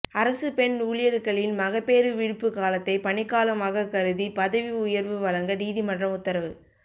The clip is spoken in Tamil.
அரசு பெண் ஊழியர்களின் மகப்பேறு விடுப்பு காலத்தை பணிக்காலமாக கருதி பதவி உயர்வு வழங்க நீதிமன்றம் உத்தரவு